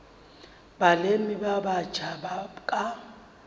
balemi ba batjha ba ka